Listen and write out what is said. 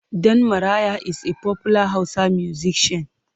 Dan Maraya is a popular Hausa musician.